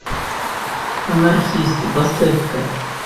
анархисты поставь ка